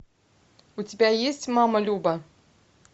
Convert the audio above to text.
у тебя есть мама люба